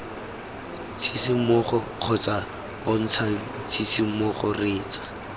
tshisimogo kgotsa bontshang tshisimogo reetsa